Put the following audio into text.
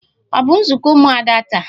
Ọ bụ nzukọ ụmụada taa?